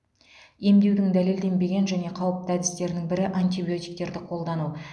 емдеудің дәлелденбеген және қауіпті әдістердің бірі антибиотиктерді қолдану